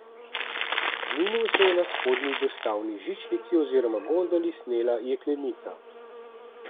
Na Kaninu se je na spodnji dostavni žičnici oziroma gondoli snela jeklenica.